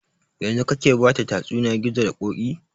Yanzun kake bata tsatsuniyan gizo da ƙoƙi?